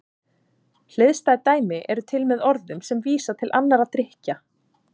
Hliðstæð dæmi eru til með orðum sem vísa til annarra drykkja.